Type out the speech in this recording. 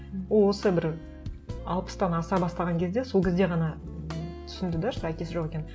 ол осы бір алпыстан аса бастаған кезде сол кезде ғана түсінді де что әкесі жоқ екенін